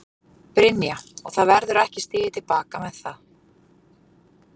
Brynja: Og það verður ekki stigið til baka með það?